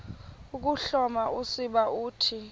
ukuhloma usiba uthi